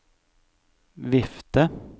vifte